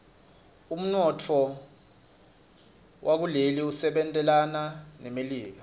umnotfo waleli usebentelana nemelika